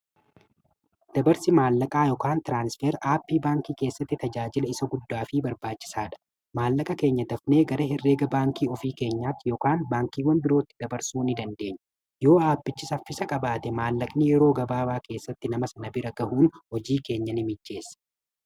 Dabarsi maallaqaa yookiin tiraanisfer aappiin baankii keessatti tajaajila isa guddaa fi barbaachisaa dha. Maallaqa keenya dafnee gara hirreega baankii ofii keenyaatti yookiin baankiiwwan birootti dabarsuu ni dandeenya.